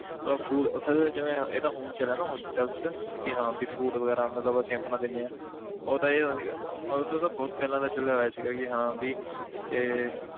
ਮਤਲਬ food ਉੱਥੇ ਤਾਂ ਜਿਵੇਂ ਇਹ ਤਾਂ ਹੁਣ ਚੱਲਿਆ ਨਾ hospitals 'ਚ ਕਿ ਹਾਂ ਵੀ food ਵਗ਼ੈਰਾ ਮਤਲਬ ਅਸੀਂ ਆਪਣਾ ਦਿੰਦੇ ਹਾਂ ਉਦੋਂ ਇਹ ਸੀਗਾ ਉਹ ਤੋਂ ਤਾਂ ਬਹੁਤ ਪਹਿਲਾਂ ਦਾ ਚੱਲਿਆ ਹੋਇਆ ਸੀਗਾ ਕਿ ਹਾਂ ਵੀ ਕਿ